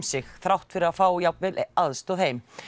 sig þrátt fyrir að fá jafnvel aðstoð heim